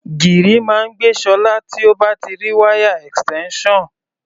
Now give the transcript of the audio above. Gìrì máa ń gbé Ṣọlá tí ó bá ti rí wáyà extension.